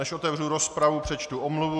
Než otevřu rozpravu, přečtu omluvu.